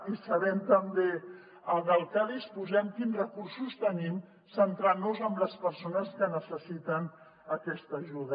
i sabent també de què disposem quins recursos tenim centrant nos en les persones que necessiten aquesta ajuda